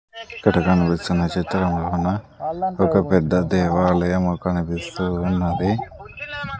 ఇక్కడ కనిపిస్తున్న చిత్రములోన ఒక పెద్ద దేవాలయం కనిపిస్తూ ఉన్నది